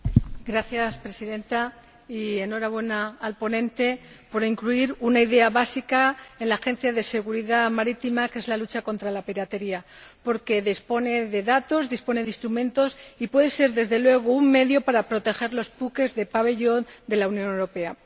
Señora Presidenta, enhorabuena al ponente por incluir una idea básica en el ámbito de actividad de la Agencia Europea de Seguridad Marítima, que es la lucha contra la piratería, porque dispone de datos, dispone de instrumentos y puede ser, desde luego, un medio para proteger los buques con pabellón de la Unión Europea.